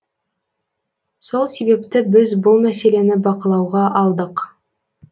сол себепті біз бұл мәселені бақылауға алдық